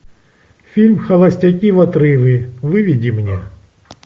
фильм холостяки в отрыве выведи мне